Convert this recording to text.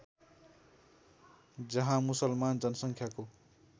जहाँ मुसलमान जनसङ्ख्याको